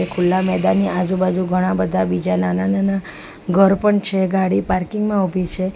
ખુલ્લા મેદાની આજુબાજુ ઘણા બધા બીજા નાના-નાના ઘર પણ છે ગાડી પાર્કિંગ માં ઉભી છે.